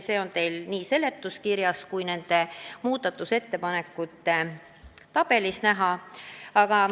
See on nii seletuskirjas kui ka muudatusettepanekute tabelis näha.